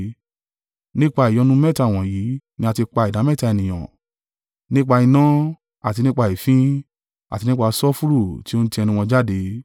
Nípa ìyọnu mẹ́ta wọ̀nyí ni a tí pa ìdámẹ́ta ènìyàn, nípa iná, àti nípa èéfín, àti nípa sulfuru tí o ń tí ẹnu wọn jáde.